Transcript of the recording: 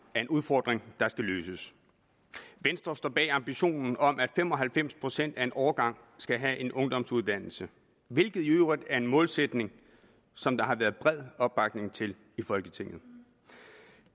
er en udfordring der skal løses venstre står bag ambitionen om at fem og halvfems procent af en årgang skal have en ungdomsuddannelse hvilket i øvrigt er en målsætning som der har været bred opbakning til i folketinget